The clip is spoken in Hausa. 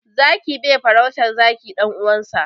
Zaki bai farautar zaki ɗan uwansa.